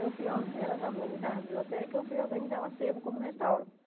Eu fui or, elas organizaram a biblioteca, e eu fui organizar o acervo como restauro.